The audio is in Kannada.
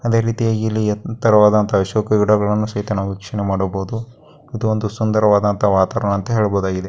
ಅದೇ ರೀತಿಯಲ್ಲಿ ಇಲ್ಲಿ ಎತ್ತರವಾದಂತಹ ಶೋ ಗಿಡಗಲ್ಲನು ಸಹಿತ ವೀಕ್ಷಣಯೇ ಮಾಡಬಹುದು ಅದು ಓಬುದು ಸುಂದರವಾದಂತಹ ವಾತಾವರಣ ಅಂತ ಹೇಳಬಹುದಾಗಿದೆ.